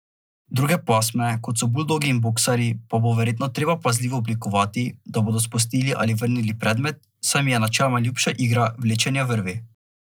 Druge pasme, kot so buldogi in boksarji, pa bo verjetno treba pazljivo oblikovati, da bodo spustili ali vrnili predmet, saj jim je načeloma ljubša igra vlečenja vrvi.